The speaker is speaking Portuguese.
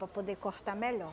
Para poder cortar melhor.